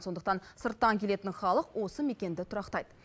сондықтан сырттан келетін халық осы мекенді тұрақтайды